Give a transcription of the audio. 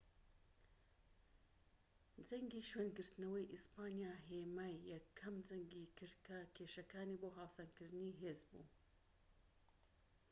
جەنگی شوێنگرتنەوەی ئیسپانیا هێمای یەکەم جەنگی کرد کە کێشەکانی بۆ هاوسەنگکردنی هێز بوو